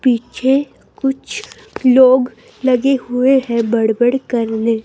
पीछे कुछ लोग लगे हुए हैं बड़बड़ करने--